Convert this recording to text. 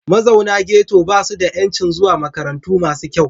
Mazaunan Ghetto ba su da 'yancin zuwa makarantu masu kyau.